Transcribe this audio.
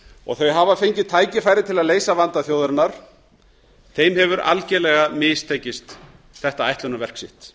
og þau hafa fengið tækifæri til að leysa vanda þjóðarinnar þeim hefur algjörlega mistekist þetta ætlunarverk sitt